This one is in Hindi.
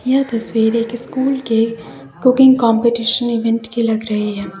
यह तस्वीर एक स्कूल के कुकिंग कंपटीशन इवेंट की लग रही है।